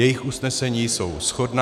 Jejich usnesení jsou shodná.